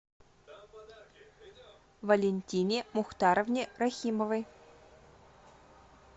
валентине мухтаровне рахимовой